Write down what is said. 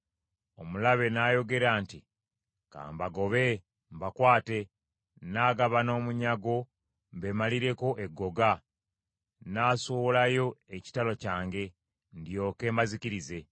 “Omulabe n’ayogera nti, ‘Ka mbagobe, mbakwate. Nnaagabana omunyago; mbeemalireko eggoga. Nnaasowolayo ekitala kyange, ndyoke mbazikirize.’